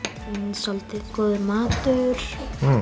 svolítið góður matur